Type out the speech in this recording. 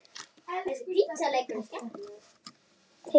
Orgelið í öllu sínu veldi.